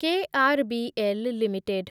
KRBL limited